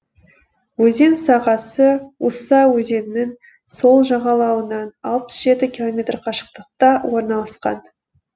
өзен сағасы уса өзенінің сол жағалауынан алпыс жеті километр қашықтықта орналасқан